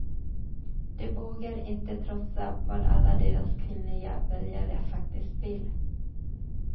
De vågar inte trotsa vad alla deras kvinnliga väljare faktiskt vill.